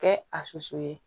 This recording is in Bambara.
Kɛ a susu ye